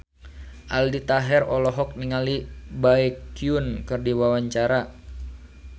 Aldi Taher olohok ningali Baekhyun keur diwawancara